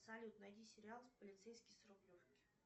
салют найди сериал полицейский с рублевки